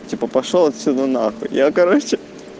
типа пошёл отсюда нахуй я короче